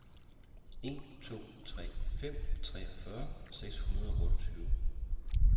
en to tre fem treogfyrre seks hundrede og otteogtyve